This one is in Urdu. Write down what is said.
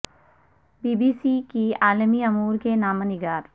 بی بی سی کی عالمی امور کی نامہ نگار